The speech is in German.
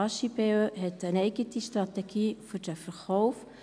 Das HJB hat eine eigene Strategie für den Verkauf.